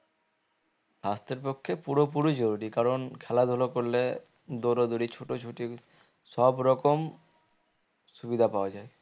সাস্থের পক্ষে পুরো পুরি জরুরি কারণ খেলা ধুলো করলে দৌড় দৌড়ি ছুটো ছুটি সব রকম সুবিধা পাওয়া যায়